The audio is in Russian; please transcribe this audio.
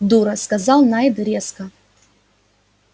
дура сказал найд резко